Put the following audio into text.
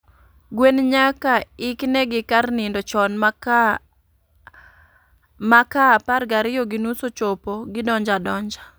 Gwen nyaka ik ne gi kar nindo chon ma ka apar gariyo gi nus ochopo, gidonjo adonja